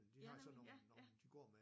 De har sådan nogen nogen de går med